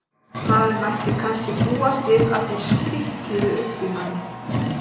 Maður mætti kannski búast við að þeir sprikluðu uppi í manni.